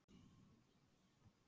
og kannski er það hann sem ræður því.